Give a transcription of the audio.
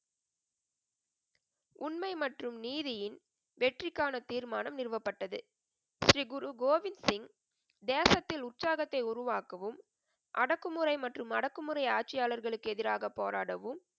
உண்மை மற்றும் நீதியின் வெற்றிக்கான தீர்மானம் நிறுவப்பட்டது. ஸ்ரீ குரு கோவிந் சிங், தேசத்தில் உற்சாகத்தை உருவாக்கவும், அடக்குமுறை மற்றும் அடக்குமுறை ஆட்சியாளர்களுக்கு எதிராக போராடவும்,